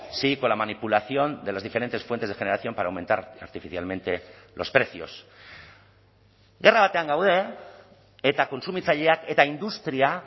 si con la manipulación de las diferentes fuentes de generación para aumentar artificialmente los precios gerra batean gaude eta kontsumitzaileak eta industria